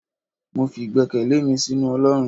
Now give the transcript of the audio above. mọ fí igbèkéle mí sinú olorún